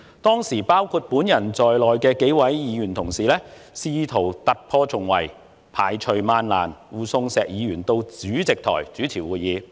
當時包括我在內的幾位議員同事，試圖突破重圍，排除萬難，護送石議員到主席台主持會議。